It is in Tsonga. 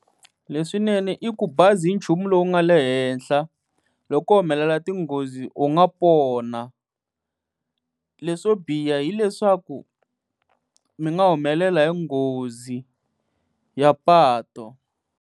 Leswinene i ku bazi hi nchumu lowu nga le henhla loko ko humelela tinghozi u nga pona leswo biha hileswaku mi nga humelela hi nghozi ya patu.